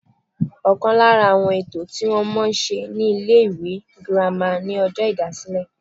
Ọ̀kan lára àwọn ètò tí wọ́n máa ń ṣe ní ilé ìwé girama ni ọjọ́ ìdásílẹ̀